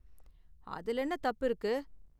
அதுல என்ன தப்பு இருக்கு?